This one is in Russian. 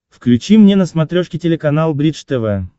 включи мне на смотрешке телеканал бридж тв